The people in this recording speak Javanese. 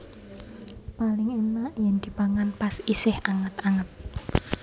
Paling enak yen dipangan pas isih anget anget